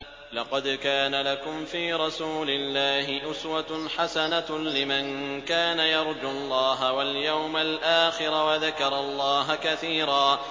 لَّقَدْ كَانَ لَكُمْ فِي رَسُولِ اللَّهِ أُسْوَةٌ حَسَنَةٌ لِّمَن كَانَ يَرْجُو اللَّهَ وَالْيَوْمَ الْآخِرَ وَذَكَرَ اللَّهَ كَثِيرًا